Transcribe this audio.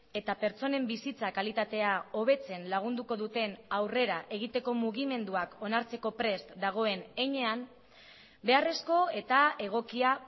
eta pertsonen bizitza kalitatea hobetzen lagunduko duten aurrera egiteko mugimenduak onartzeko prest dagoen heinean beharrezko eta egokia